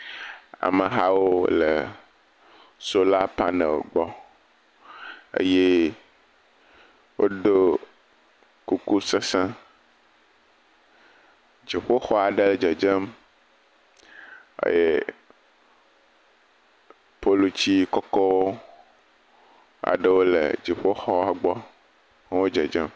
Amehawo le sola panel gbɔ eye wodo kuku sesẽ. Dziƒoxɔ aɖe dzedzem eye poluti kɔkɔ aɖewo le dziƒoxɔ gbɔ, ha wodzedzem.